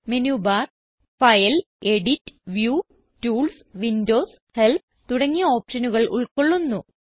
menu bar file edit view tools windows help തുടങ്ങിയ ഓപ്ഷനുകൾ ഉൾകൊള്ളുന്നു